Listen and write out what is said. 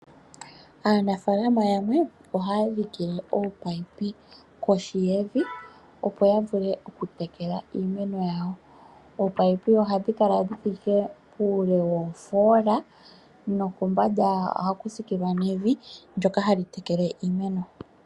Aanafalama yamwe ohaya dhike oominino kohi yevi. Opo ya vule oku tekela iimeno yawo. Ominino ohadhi kala dhi thike puule woofola nokombanda oha ku sikililwa nevi ndjoka hali tekele iimeno.